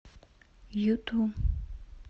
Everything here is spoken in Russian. юту